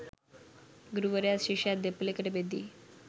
ගුරුවරයාත් ශිෂ්‍යයාත් දෙපිළකට බෙදී